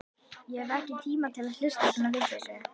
Ég hef ekki tíma til að hlusta á svona vitleysu.